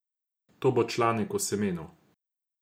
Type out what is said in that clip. To bo članek o semenu.